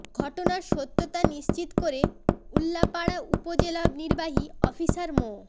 ঘটনার সত্যতা নিশ্চিত করে উল্লাপাড়া উপজেলা নির্বাহী অফিসার মো